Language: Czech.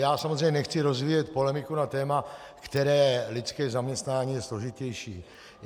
Já samozřejmě nechci rozvíjet polemiku na téma, které lidské zaměstnání je složitější.